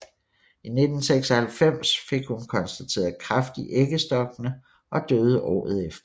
I 1996 fik hun konstateret kræft i æggestokkene og døde året efter